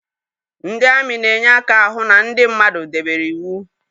Ndị amị na-enye aka ahụ na ndị mmadụ debere iwu